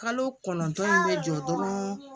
Kalo kɔnɔntɔn in bɛ jɔ dɔrɔn